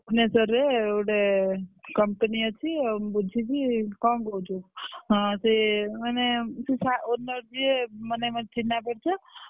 ଭୁବନେଶ୍ବର ରେ ଗୋଟେ company ଅଛି ଆଉ ମୁଁ ବୁଝିଚି, କଣ କହୁଛୁ? ହଁ ସେ ମାନେ ସେ owner ଯିଏ ମାନେ ମୋର ଚିହ୍ନା ପରିଚ।